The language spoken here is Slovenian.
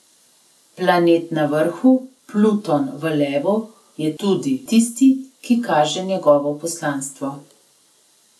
Planet na vrhu, Pluton v levu, je tudi tisti, ki kaže njegovo poslanstvo.